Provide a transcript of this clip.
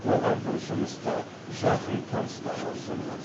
оған бұл жұмысты жақын таныстары ұсынған